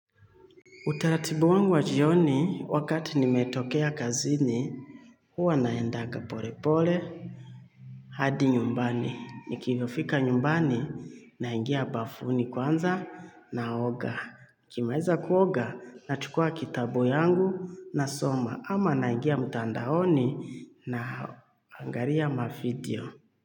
Utaratibu wangu wa jioni, wakati nimetoka kazini, huwa naenda pole pole hadi nyumbani. Nikifika nyumbani, naingia bafuni kwanza naoga. Nikimaliza kuoga, nachukua kitabu changu, nasoma, ama naingia mtandaoni. Naangalia video.